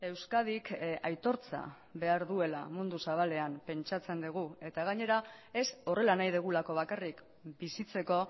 euskadik aitortza behar duela mundu zabalean pentsatzen dugu eta gainera ez horrela nahi dugulako bakarrik bizitzeko